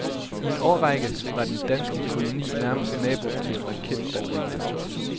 I en årrække var den danske koloni nærmeste nabo til raketbatteriet.